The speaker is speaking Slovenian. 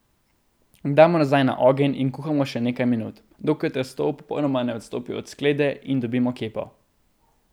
Damo nazaj na ogenj in kuhamo še nekaj minut, dokler testo popolnoma ne odstopi od sklede in dobimo kepo.